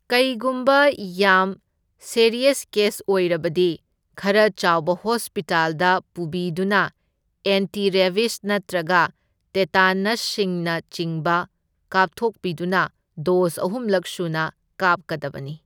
ꯀꯩꯒꯨꯝꯕ ꯌꯥꯝ serious case ꯑꯣꯏꯔꯕꯗꯤ ꯈꯔ ꯆꯥꯎꯕ ꯍꯣꯁꯄꯤꯇꯥꯜꯗ ꯄꯨꯕꯤꯗꯨꯅ ꯑꯦꯟꯇꯤ ꯔꯦꯕꯤꯁ ꯅꯠꯇ꯭ꯔꯒ ꯇꯦꯇꯥꯅꯁꯁꯤꯡꯅꯆꯤꯡꯕ ꯀꯥꯞꯊꯣꯛꯄꯤꯗꯨꯅ ꯗꯣꯁ ꯑꯍꯨꯝꯂꯛ ꯁꯨꯅ ꯀꯥꯞꯀꯗꯕꯅꯤ꯫